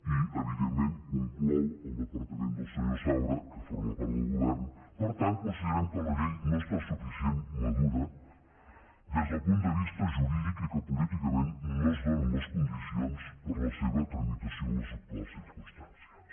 i evidentment conclou que el departament del senyor saura que forma part del govern per tant considerem que la llei no està suficientment madura des del punt de vista jurídic i que políticament no es donen les condicions per a la seva tramitació en les actuals circumstàncies